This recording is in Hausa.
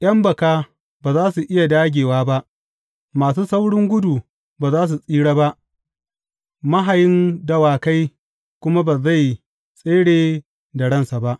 ’Yan baka ba za su iya dāgewa ba, masu saurin gudu ba za su tsira ba mahayin dawakai kuma ba zai tsere da ransa ba.